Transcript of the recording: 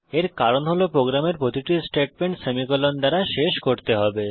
এর কারণ হল প্রোগ্রামের প্রতিটি স্টেটমেন্ট সেমিকোলন দ্বারা শেষ করতে হবে